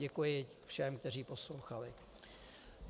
Děkuji všem, kteří poslouchali.